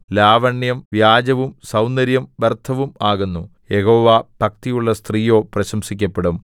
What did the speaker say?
ലാവണ്യം വ്യാജവും സൗന്ദര്യം വ്യർത്ഥവും ആകുന്നു യഹോവാഭക്തിയുള്ള സ്ത്രീയോ പ്രശംസിക്കപ്പെടും